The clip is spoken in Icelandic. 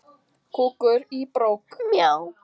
En ég veit að ég get sigrast á þessu.